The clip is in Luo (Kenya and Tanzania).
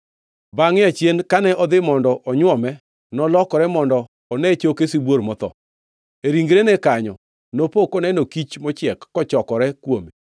Bangʼe achien, kane odhi mondo onywome, nolokore mondo one choke sibuor motho. E ringrene kanyo nopo koneno kich mochiek kochokore kuome,